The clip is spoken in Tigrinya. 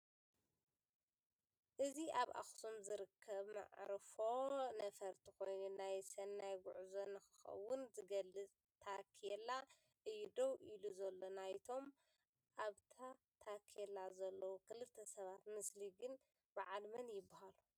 እዚ ኣብ ኣኽሱም ዝርከብ መዕርፎ ነፈርቲ ኾይኑ ናይ ሰናይ ጉዕዞ ንክኾን ዝገልፅ ታፔላ እዩ ደው ኢሉ ዘሎ ፡ ናይቶም ኣብታ ታፔላ ዘለዉ ክልተ ሰባት ምስሊ ግን በዓል መን ይበሃሉ?